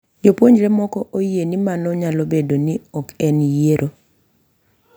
Jopuonjre moko oyie ni mano nyalo bedo ni ok en yiero,